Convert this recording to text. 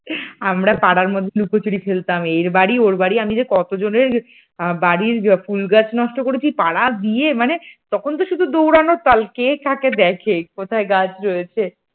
আমরা পাড়ার মধ্যে লুকোচুরি খেলতাম এর বাড়ি ওর বাড়ি আমি যে কতজনের বাড়ির ফুল গাছ নষ্ট করেছি পাড়া গিয়ে মানে তখন তো শুধু দৌড়ানোর কাজ কে কাকে দেখে, কোথায় গাছ রয়েছে।